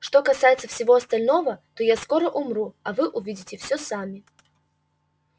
что касается всего остального то я скоро умру а вы увидите все сами